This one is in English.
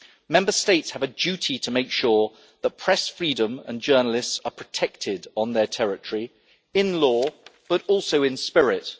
Member States have a duty to make sure that press freedom and journalists are protected on their territory, in law but also in spirit.